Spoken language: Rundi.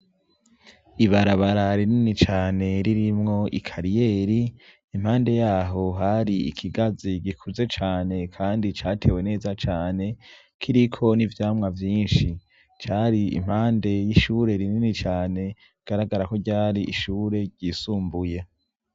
Ibarabara rinini cane ririmwo ikariyeri impande y'aho, har'ikigazi gikuze cane, kandi catewe neza cane. Kiriko n'ivyamwa vyinshi. Car'impande y'ishure rinini cane. Bigaragara ko ryar'ishure ryisumbuye.